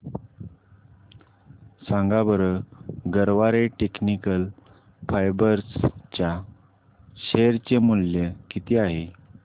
सांगा बरं Garware Technical Fibres च्या शेअर चे मूल्य किती आहे